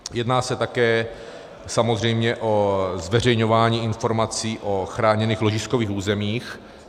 Jedná se také samozřejmě o zveřejňování informací o chráněných ložiskových územích.